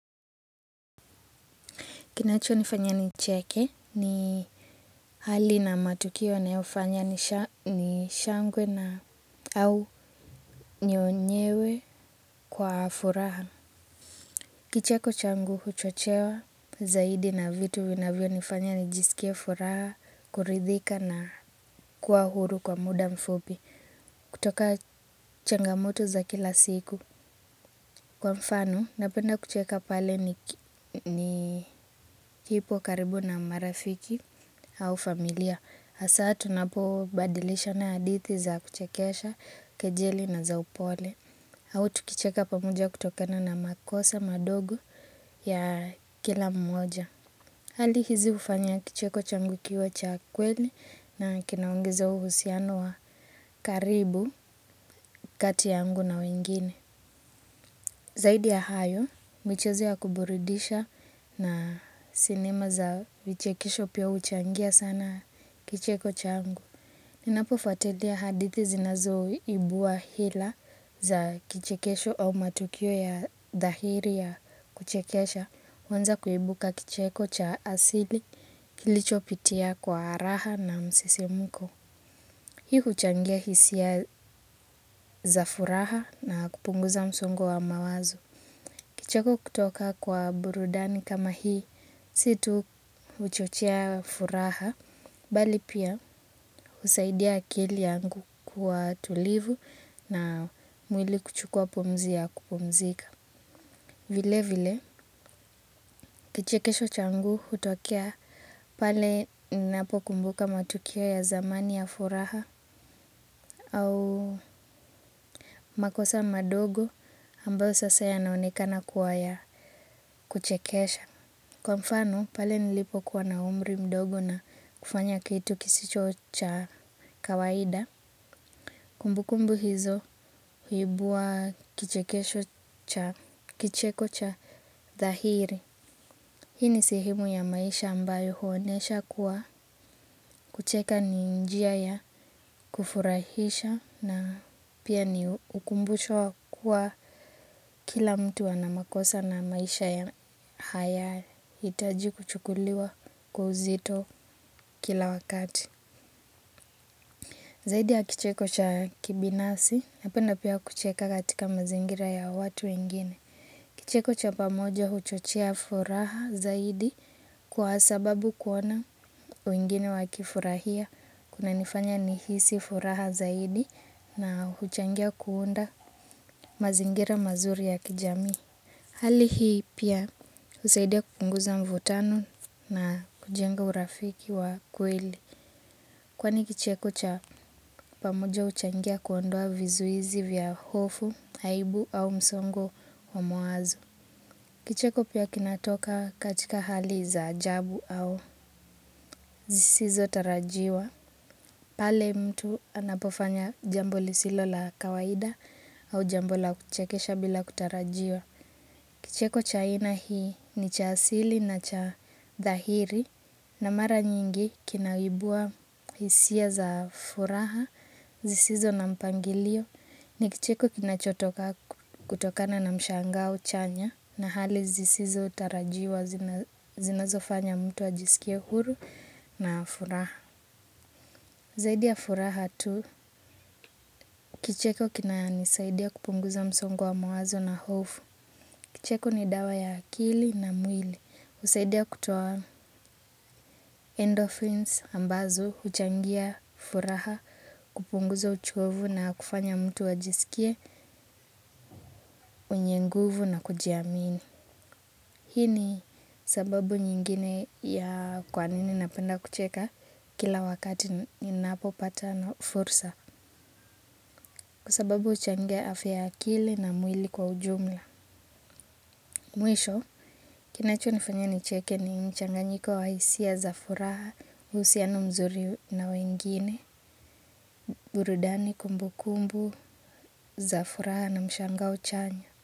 Kinachonifanya nicheke ni hali na matukio yanayofanya ni shangwe na au nyonyewe kwa furaha. Kicheko changu huchochewa zaidi na vitu vinavyonifanya nijisikie furaha kuridhika na kuwa huru kwa muda mfupi kutoka changamoto za kila siku. Kwa mfano, napenda kucheka pale nilipo karibu na marafiki au familia. Hasa tunapobadilishana hadithi za kuchekesha kejeli na za upole. Au tukicheka pamoja kutokana na makosa madogo ya kila mmoja. Hali hizi hufanya kicheko changu kiwe cha kweli na kinaongeza uhusiano wa karibu kati yangu na wengine. Zaidi ya hayo micheo ya kuburudisha na sinema za vichekesho huchangia sana kicheko changu ninapofuatilia hadithi zinazoibua hila za kichekesho au matukio ya dhahiri ya kuchekesha huanza kuibuka kicheko cha asili kilichopitia kwa raha na msisimko. Hii huchangia hisia za furaha na kupunguza msongo wa mawazo. Kicheko kutoka kwa burudani kama hii, si tu huchochea furaha, bali pia husaidia akili yangu kuwa tulivu na mwili kuchukua pumzi ya kupumzika. Vile vile, kichekesho changu hutokea pale ninapokumbuka matukio ya zamani ya furaha au makosa madogo ambayo sasa yanaonekana kuwa ya kuchekesha. Kwa mfano, pale nilipokuwa na umri mdogo na kufanya kitu kisicho cha kawaida kumbukumbu hizo huibua kichekesho cha kicheko cha dhahiri. Hii ni sehemu ya maisha ambayo huonyesha kuwa kucheka ni njia ya kufurahisha na pia ni ukumbusho wa kua kila mtu ana makosa na maisha ya hayahitaji kuchukuliwa kwa uzito kila wakati. Zaidi ya kicheko cha binafsi napenda pia kucheka katika mazingira ya watu wengine. Kicheko cha pamoja huchochea furaha zaidi kwa sababu kuona wengine wakifurahia. Kunanifanya nihisi furaha zaidi na huchangia kuunda mazingira mazuri ya kijamii. Hali hii pia husaidia kupunguza mvutano na kujenga urafiki wa kweli. Kwani kicheko cha pamoja huchangia kuondoa vizuizi vya hofu, aibu au msongo wa mawazo. Kicheko pia kinatoka katika hali za ajabu au zisizotarajiwa. Pale mtu anapofanya jambo lisilo la kawaida au jambo la kuchekesha bila kutarajiwa. Kicheko cha aina hii ni cha asili na cha dhahiri na mara nyingi kinaibua hisia za furaha zisizo na mpangilio. Ni kicheko kinachotoka kutokana na mshangao chanya na hali zisizotarajiwa zinazofanya mtu ajisikie huru na furaha. Zaidi ya furaha tu, kicheko kinanisaidia kupunguza msongo wa mawazo na hofu. Kicheko ni dawa ya akili na mwili. Husaidia kutoa endorphins ambazo, huchangia furaha, kupunguza uchovu na kufanya mtu ajisikie, mwenye nguvu na kujiamini. Hii ni sababu nyingine ya kwa nini napenda kucheka kila wakati ninapopata fursa. Kwa sababu huchangia afya ya akili na mwili kwa ujumla Mwisho Kinachonifanya nicheke ni mchanganyiko wa hisia za furaha uhusiano mzuri na wengine burudani kumbukumbu za furaha na mshangao chanya.